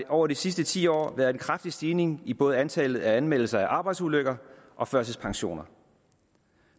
over de sidste ti år været en kraftig stigning i både antallet af anmeldelser af arbejdsulykker og førtidspensioner